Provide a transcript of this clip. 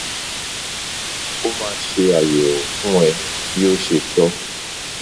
o ma se ayewo fun e bi o se to